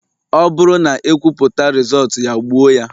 Ọ bụrụ na ekwuputa Rịzọọtu ya, gbuo ya